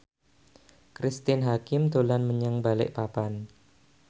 Cristine Hakim dolan menyang Balikpapan